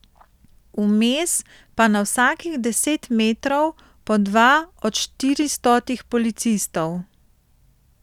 Vmes pa na vsakih deset metrov po dva od štiristotih policistov.